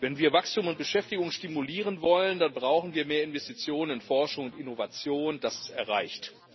Wenn wir Wachstum und Beschäftigung stimulieren wollen, dann brauchen wir mehr Investitionen in Forschung und Innovation das ist erreicht.